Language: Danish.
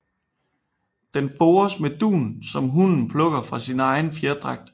Den fores med dun som hunnen plukker fra sin egen fjerdragt